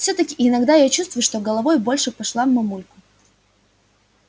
всё-таки иногда я чувствую что головой больше пошла в мамульку